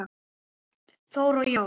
Þóra og Jón.